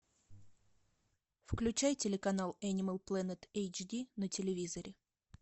включай телеканал энимал плэнет эйч ди на телевизоре